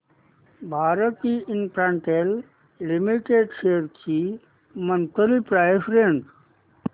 Bharti Infratel limited shares ची monthly price range